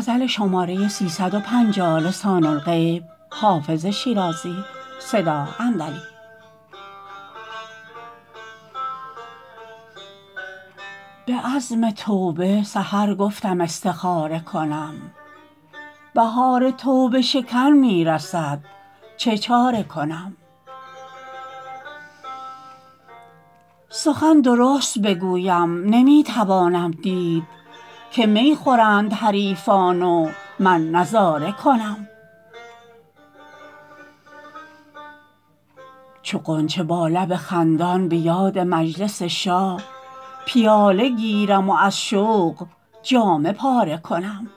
به عزم توبه سحر گفتم استخاره کنم بهار توبه شکن می رسد چه چاره کنم سخن درست بگویم نمی توانم دید که می خورند حریفان و من نظاره کنم چو غنچه با لب خندان به یاد مجلس شاه پیاله گیرم و از شوق جامه پاره کنم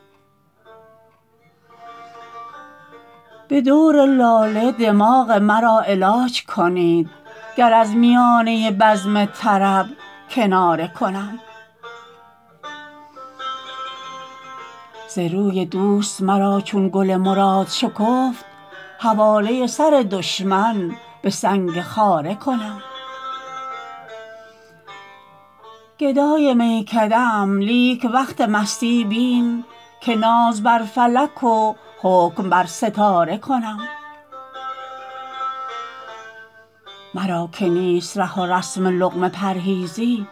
به دور لاله دماغ مرا علاج کنید گر از میانه بزم طرب کناره کنم ز روی دوست مرا چون گل مراد شکفت حواله سر دشمن به سنگ خاره کنم گدای میکده ام لیک وقت مستی بین که ناز بر فلک و حکم بر ستاره کنم مرا که نیست ره و رسم لقمه پرهیزی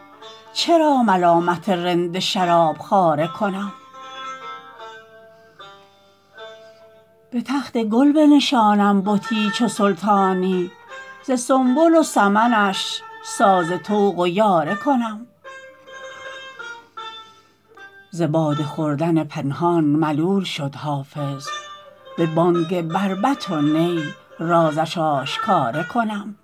چرا ملامت رند شراب خواره کنم به تخت گل بنشانم بتی چو سلطانی ز سنبل و سمنش ساز طوق و یاره کنم ز باده خوردن پنهان ملول شد حافظ به بانگ بربط و نی رازش آشکاره کنم